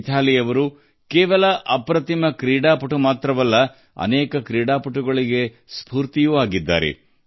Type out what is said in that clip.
ಮಿಥಾಲಿ ಅಸಾಧಾರಣ ಆಟಗಾರ್ತಿ ಮಾತ್ರವಲ್ಲ ಹಲವು ಆಟಗಾರರಿಗೆ ಅವರು ಪ್ರೇರಣೆ ಒದಗಿಸಿದ್ದಾರೆ ಸ್ಫೂರ್ತಿಯಾಗಿದ್ದಾರೆ